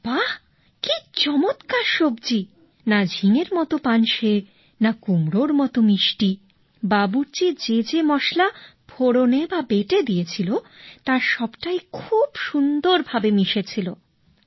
আরে বাহ কি চমৎকার সবজি না ঝিঙের মত পানসে না কুমড়োর মত মিষ্টি বাবুর্চি যে যে মসলা ভেজেবেটে দিয়েছিল তার সবটাই খুব সুন্দর ভাবে মিশে ছিল